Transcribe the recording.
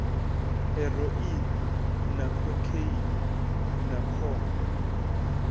heroine na khokheini na khombo